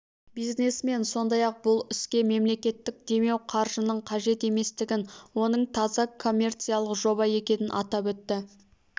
бизнесмен сондай-ақ бұл іске мемлекеттік демеу қаржының қажет еместігін оның таза коммерциялық жоба екенін атап өтті